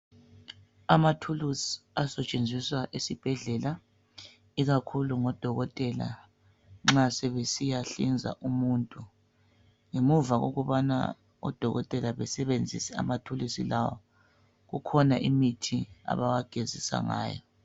Izikhali ezisetshenziswa esibhedlela ikakhulu ngodokotela sebesiyahlinza umuntu bengakazisebenzisi lezizikhali kukhona imithi abazigezisa ngayo.